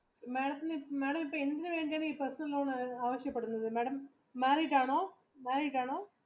Madam എന്തിന് വേണ്ടീട്ടാണ് ഈ personal loan ആവശ്യപ്പെടുന്നത്?